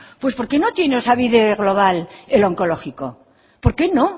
pues por qué no tiene osabide global el onkologiko por qué no